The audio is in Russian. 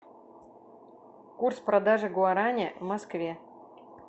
курс продажи гуарани в москве